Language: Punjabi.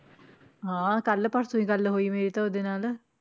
ਹਾਂ ਕੱਲ੍ਹ ਪਰਸੋਂ ਹੀ ਗੱਲ ਹੋਈ ਮੇਰੀ ਤਾਂ ਉਹਦੇ ਨਾਲ।